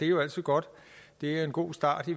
jo altid godt det er en god start